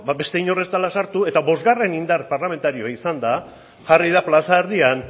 ba beste inor ez dela sartu eta bosgarren indar parlamentario izanda jarri da plaza erdian